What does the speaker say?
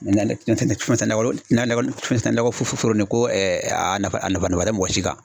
a nafa tɛ mɔgɔ si kan.